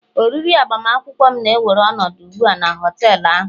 oriri agbamakwụkwọ m na-ewere ọnọdụ ugbu a na họtel ahụ